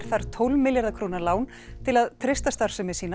þarf tólf milljarða króna lán til að treysta starfsemi sína